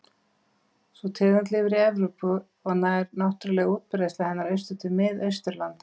Sú tegund lifir í Evrópu og nær náttúruleg útbreiðsla hennar austur til Mið-Austurlanda.